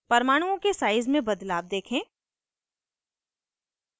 परमाणुओं के size में बदलाव देखें